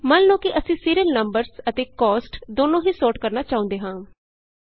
ਮੰਨ ਲਉ ਕਿ ਅਸੀਂ ਸੀਰੀਅਲ ਨੰਬਰਸ ਅਤੇ ਕੋਸਟ ਦੋਨੋ ਹੀ ਸੋਰਟ ਕਰਨਾ ਚਾਹੁੰਦੇ ਹਾਂ